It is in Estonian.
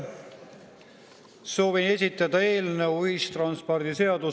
Soovin esitada ühistranspordiseaduse eelnõu.